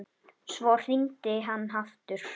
Svo hringdi hann aftur.